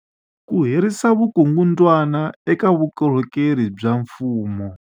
Ku herisa vukungundwani eka vukorhokeri bya mfumo